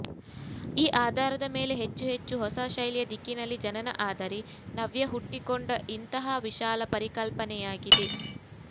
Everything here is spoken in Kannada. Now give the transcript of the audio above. ಈ ಆಧಾರದ ಮೇಲೆ ಹೆಚ್ಚು ಹೆಚ್ಚು ಹೊಸ ಶೈಲಿಯ ದಿಕ್ಕಿನಲ್ಲಿ ಜನನ ಆದರೆ ನವ್ಯ ಹುಟ್ಟಿಕೊಂಡ ಇಂತಹ ವಿಶಾಲ ಪರಿಕಲ್ಪನೆಯಾಗಿದೆ